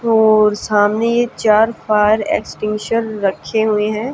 और सामने ये चार फायर एक्सटेंशन रखे हुए हैं।